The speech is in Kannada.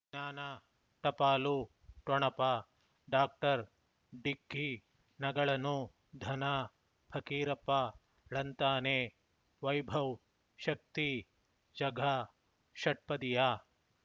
ಜ್ಞಾನ ಟಪಾಲು ಠೊಣಪ ಡಾಕ್ಟರ್ ಢಿಕ್ಕಿ ಣಗಳನು ಧನ ಫಕೀರಪ್ಪ ಳಂತಾನೆ ವೈಭವ್ ಶಕ್ತಿ ಝಗಾ ಷಟ್ಪದಿಯ